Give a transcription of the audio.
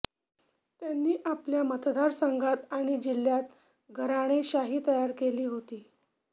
त्यांनी आपल्या मतदारसंघात आणि जिल्ह्यात घराणेशाही तयार केली होती